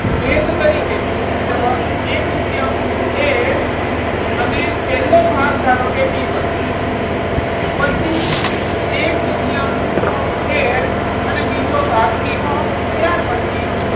વેધ તરીકે છે એટલે one એક દૂતીયાંશ L અને પહેલો ભાગ ધારો કે, B one પછી એક દૂતીયાંશ L અને બીજો ભાગ B two ત્યાર પછી,